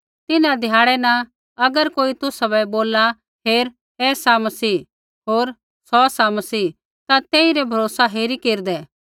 तिन्हां ध्याड़ै न अगर कोई तुसाबै बोलला हेर ऐ सा मसीह होर सौ सा मसीह ता तेइरा भरोसा हेरी केरदै